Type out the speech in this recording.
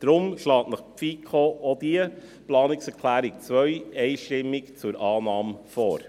Deshalb schlägt Ihnen die FiKo auch die Planungserklärung 2 einstimmig zur Annahme vor.